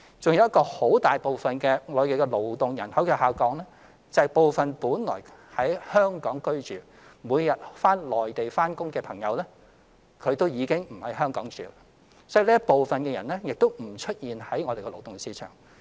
還有一類很大部分的勞動人口下降，是部分原居於香港並每日到內地工作的朋友，已經不在香港居住，所以這一部分人亦不在勞動市場出現。